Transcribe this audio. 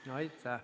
Aitäh!